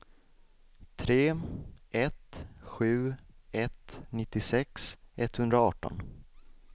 tre ett sju ett nittiosex etthundraarton